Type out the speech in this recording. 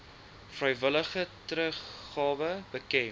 vrywillige teruggawe bekend